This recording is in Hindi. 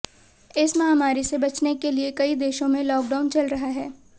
इस महामारी से बचने के लिए कई देशों में लॉकडाउन चल रहा है